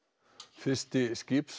fyrsti